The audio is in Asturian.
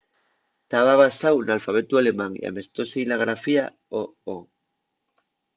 taba basáu nel alfabetu alemán y amestóse-y la grafía õ/õ